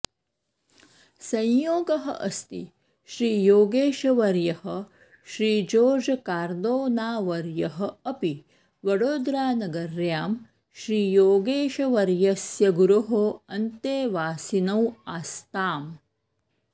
संयोगः अस्ति श्रीयोगेशवर्यः श्रीजोर्जकार्दोनावर्यः अपि वडोदरानगर्यां श्रीयोगेशवर्यस्य गुरोः अन्तेवासिनौ आस्ताम्